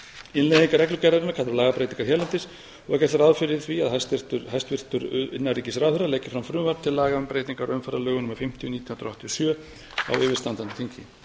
innleiðing reglugerðarinnar kallar á lagabreytingar hérlendis og er gert ráð fyrir því að hæstvirtur innanríkisráðherra leggi fram frumvarp til laga um breytingar á umferðarlögum númer fimmtíu nítján hundruð áttatíu og sjö á yfirstandandi þingi